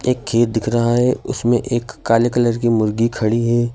एक खेत दिख रहा है उसमें एक काले कलर की मुर्गी खड़ी है।